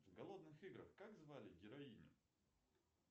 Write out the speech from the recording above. в голодных играх как звали героиню